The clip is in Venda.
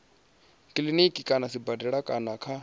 kiliniki kana sibadela kana kha